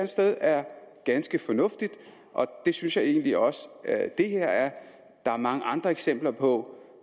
sted er ganske fornuftigt og det synes jeg egentlig også det her er der er mange andre eksempler på